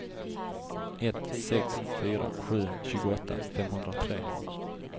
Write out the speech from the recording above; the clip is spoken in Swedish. ett sex fyra sju tjugoåtta femhundratre